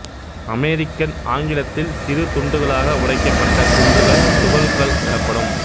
American ஆங்கிலத்தில் சிறு துண்டுகளாக உடைக்கப்பட்ட குன்றுகள் துகள் கல் எனப்படும்